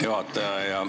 Hea juhataja!